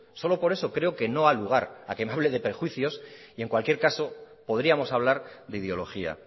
solo por eso creo que no da lugar a que me hable de prejuicios y en cualquier caso podríamos hablar de ideología